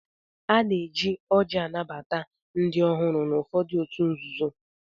Ana-eji ọ́jị́ anabata ndị ọhụrụ n'ụfọdụ òtù nzuzo.